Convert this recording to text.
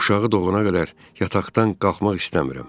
Uşağı doğana qədər yataqdan qalxmaq istəmirəm.